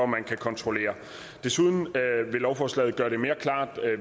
man kan kontrollere desuden vil lovforslaget gøre det mere klart